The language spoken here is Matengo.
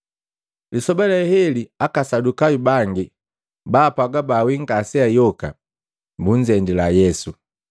Lisoba leheli, aka Asadukayu bangi, baapwaga bawi ngase ayoka, bunzendila Yesu.